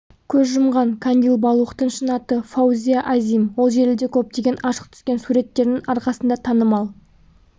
көз жұмған кандил балухтың шын аты фаузия азим ол желіде көптеген ашық түскен суреттерінің арқасында танымал